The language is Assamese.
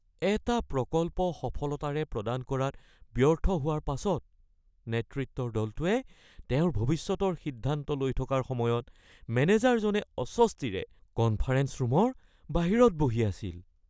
এটা প্ৰকল্প সফলতাৰে প্ৰদান কৰাত ব্যৰ্থ হোৱাৰ পাছত নেতৃত্বৰ দলটোৱে তেওঁৰ ভৱিষ্যতৰ সিদ্ধান্ত লৈ থকাৰ সময়ত মেনেজাৰজনে অস্বস্তিৰে কনফাৰেঞ্চ ৰুমৰ বাহিৰত বহি আছিল।